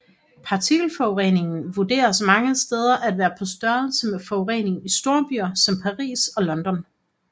Partikelforureningen vurderes mange steder at være på størrelse med forureningen i storbyer som Paris og London